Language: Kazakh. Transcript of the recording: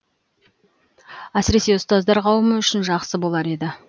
әсіресе ұстаздар қауымы үшін жақсы болар еді